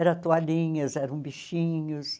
Era toalhinhas, eram bichinhos.